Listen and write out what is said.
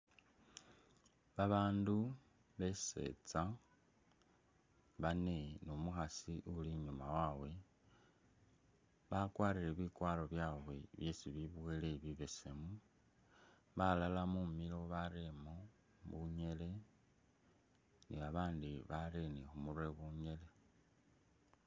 Babandu besetsa bane numukhasi uli inyuma wawe bakwarile bikwaro byabwe byesi beboyele bibesemu, balala mumilo bareremo bunyele nibabandi barere ni khumurwe bunyele